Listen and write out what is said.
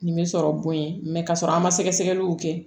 Nin bɛ sɔrɔ bon ye kasɔrɔ an ma sɛgɛsɛgɛliw kɛ